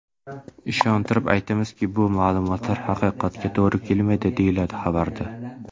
Ishontirib aytamizki, bu ma’lumotlar haqiqatga to‘g‘ri kelmaydi”, deyiladi xabarda.